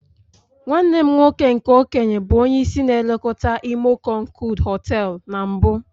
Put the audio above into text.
Nwanne m nwoke nke okenye bụ onye isi na-elekọta imo konkood hoteelu na mbụ.